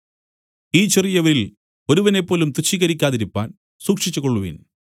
ഈ ചെറിയവരിൽ ഒരുവനേപ്പോലും തുച്ഛീകരിക്കാതിരിപ്പാൻ സൂക്ഷിച്ചുകൊള്ളുവിൻ